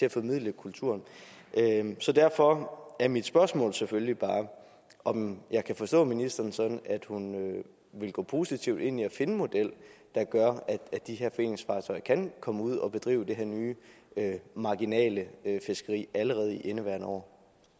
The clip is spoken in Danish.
at formidle kulturen så derfor er mit spørgsmål selvfølgelig bare om om jeg kan forstå ministeren sådan at hun vil gå positivt ind i at finde en model der gør at de her foreningsfartøjer kan komme ud at bedrive det her nye marginale fiskeri allerede i indeværende år